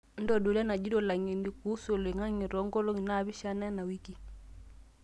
ntodolu enajito langeni kuusu oloingange too nkolongi naapishana ena wiki